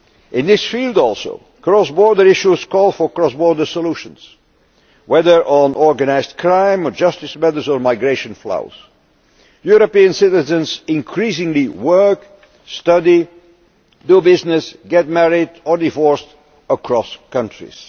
In this field also, cross border issues call for cross border solutions whether on organised crime, justice matters, or migration flows. European citizens increasingly work, study, do business, get married or divorce across countries.